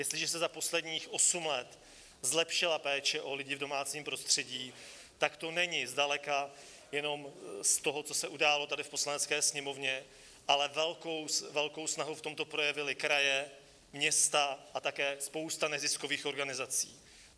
Jestliže se za posledních osm let zlepšila péče o lidi v domácím prostředí, tak to není zdaleka jenom z toho, co se událo tady v Poslanecké sněmovně, ale velkou snahu v tomto projevily kraje, města a také spousta neziskových organizací.